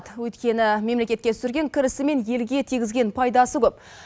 өйткені мемлекетке түсірген кірісі мен елге тигізген пайдасы көп